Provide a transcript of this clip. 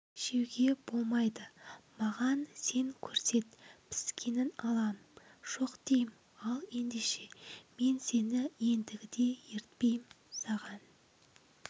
жеуге болмайды маған сен көрсет піскенін алам жоқ дейім ал ендеше мен сені ендігіде ертпейім саған